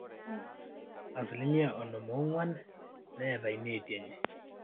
asilimia onom oong'wan neeta ineeti enye